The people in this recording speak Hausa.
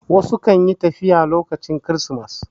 Wasu kan yi tafiya a lokacin kirismas